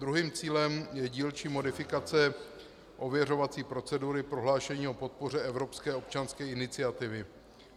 Druhým cílem je dílčí modifikace ověřovací procedury prohlášení o podpoře evropské občanské iniciativy.